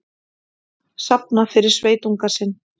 Safna fyrir sveitunga sinn